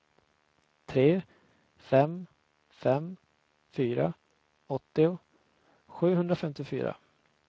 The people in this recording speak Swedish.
tre fem fem fyra åttio sjuhundrafemtiofyra